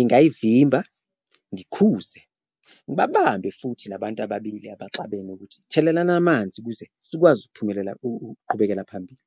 Ingayivimba, ngikhuze, ngibabambe futhi la bantu ababili abaxabene ukuthi thelelani amanzi ukuze sikwazi ukuphumelela ukuqhubekela phambili.